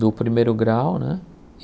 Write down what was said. do primeiro grau, né?